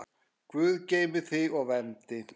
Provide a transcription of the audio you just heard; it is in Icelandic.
Guð geymi þig og verndi.